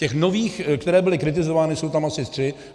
Těch nových, které byly kritizovány, jsou tam asi tři.